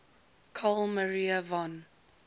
carl maria von